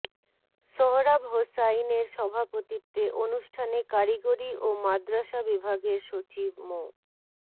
সোহরাব হোসাইনের সভাপতিত্বে অনুষ্ঠানে কারিগরি ও মাদ্রাসা বিভাগের সচিব মো